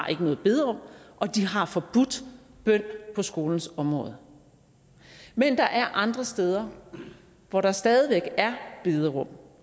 noget bederum og de har forbudt bøn på skolens område men der er andre steder hvor der stadig væk er bederum